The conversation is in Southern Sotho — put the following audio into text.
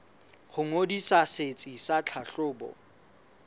ho ngodisa setsi sa tlhahlobo